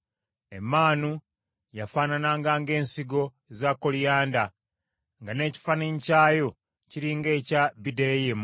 Emmaanu yafaanananga ng’ensigo za koliyanda, nga n’ekifaananyi kyayo kiri ng’ekya bideriamu.